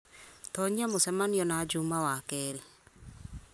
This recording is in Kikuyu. tonyia mũcemanio na juma wakerĩ